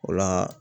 O la